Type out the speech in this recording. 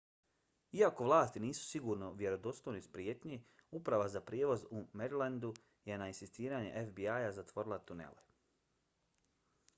iako vlasti nisu sigurne u vjerodostojnost prijetnje uprava za prijevoz u marylandu je na insistiranje fbi-a zatvorila tunele